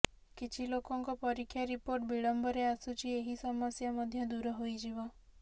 କିଛି ଲୋକଙ୍କ ପରୀକ୍ଷା ରିପୋର୍ଟ ବିଳମ୍ବରେ ଆସୁଛି ଏହି ସମସ୍ୟା ମଧ୍ୟ ଦୂର ହୋଇଯିବ